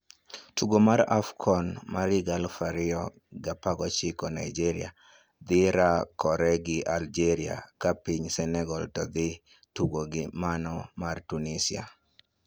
Tugo mar AFCON 2019 Nigeria dhi rakore gi Algeria ka piny Senegal to dhi tugo gi mano mar Tunisia.